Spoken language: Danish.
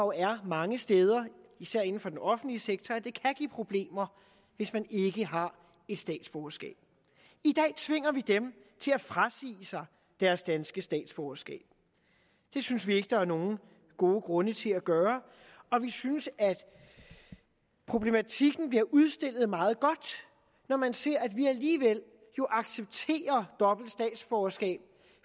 er mange steder især inden for den offentlige sektor det kan give problemer hvis man ikke har et statsborgerskab i dag tvinger vi dem til at frasige sig deres danske statsborgerskab det synes vi ikke der er nogen gode grunde til at gøre og vi synes at problematikken bliver udstillet meget godt når man ser at vi jo alligevel accepterer dobbelt statsborgerskab